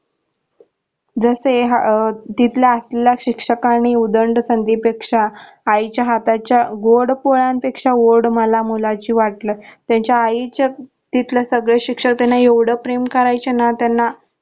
जसे अह तिला असलेला शिक्षकांनी उदंड संधी पेक्षा आईच्या हातच्या गोड पोळ्यांपेक्षा ओढ मला मुलमची वाटल त्यांचा आईच्या तिथले सगळे शिक्षक एवढ प्रेम करायच्या ना त्यांन